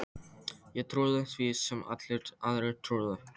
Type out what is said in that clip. Ég trúði því sem allir aðrir trúðu.